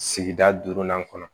Sigida duurunan kɔnɔ